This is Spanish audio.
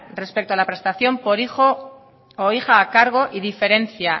respecto a la prestación por hijo o hija a cargo y diferencia